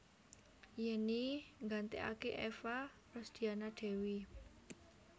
Yenny nggantèkaké Eva Rosdiana Dewi